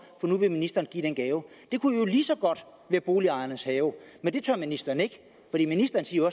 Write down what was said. nu vil ministeren give den gave det kunne lige så godt være boligejernes haver men det tør ministeren ikke ministeren siger